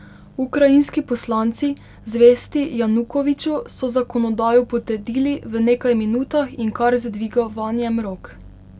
Ukrajinski poslanci, zvesti Janukoviču, so zakonodajo potrdili v nekaj minutah in kar z dvigovanjem rok.